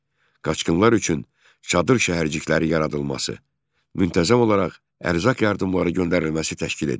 Qaçqınlar üçün çadır şəhərcikləri yaradılması, müntəzəm olaraq ərzaq yardımları göndərilməsi təşkil edildi.